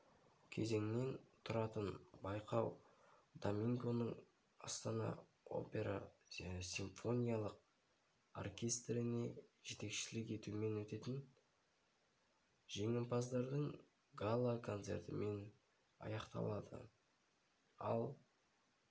кезеңнен тұратын байқау домингоның астана опера симфониялық оркестріне жетекшілік етуімен өтетін жеңімпаздардың гала-концертімен аяқталады ал